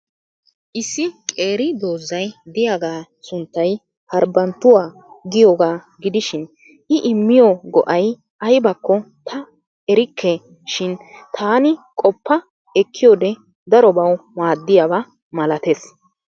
Issi qeeri doozay de'iyaaga sunttay Haribanttuwaa giyooga gidishin I immiyo go"ay aybbakko ta erikke shin taani qopa ekkiyoode darobaw maaddiyaaba malatees.